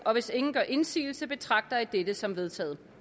hvis ingen gør indsigelse betragter jeg dette som vedtaget